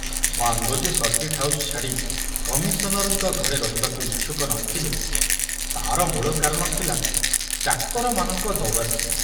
Barlow ଯେ circuit house ଛାଡ଼ି କମିଶନରଙ୍କ ଘରେ ରହିବାକୁ ଇଚ୍ଛୁକ ନଥିଲେ ତାର ମୂଳ କାରଣ ଥିଲା ଚାକରମାନଙ୍କ ଦୌରାତ୍ମ୍ୟ।